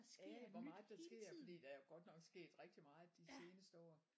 Ja hvor meget der sker fordi der er godt nok sket rigtig meget de seneste år